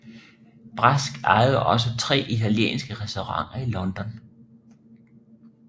Brask ejede også tre italienske restauranter i London